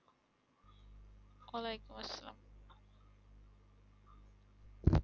ওয়ালেকুম আসসালাম